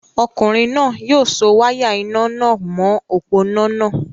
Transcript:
Ọkùnrin náà yóò so wáyà iná nà mọ̀ọ́ òpó-iná náà